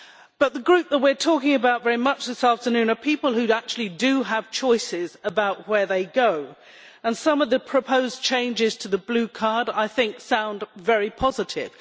But the group that we are talking about very much this afternoon are people who actually do have choices about where they go, and some of the proposed changes to the Blue Card sound very positive.